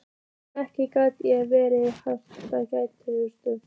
En ekki gat ég verið aðgerðalaus.